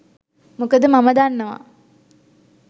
මොකද මම දන්නවා